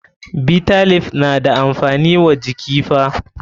Bitter leaf na da amfani wa jiki fa.